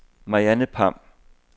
Mariann Pham